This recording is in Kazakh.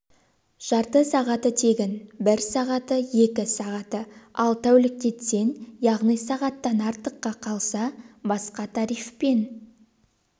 жарты сағаты тегін бір сағаты екі сағаты ал тәуліктетсең яғни сағаттан артыққа қалса басқа тарифпен